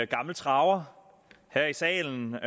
gammel traver her i salen